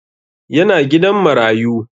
Yana gidan marayu